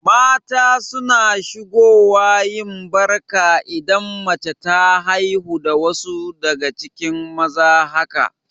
Mata suna shigo wa yin Barka idan mace ta haihu da wasu daga cikin maza haka